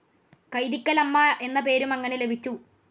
കൈതിക്കെലമ്മ എന്ന പേരും അങ്ങനെ ലഭിച്ചു.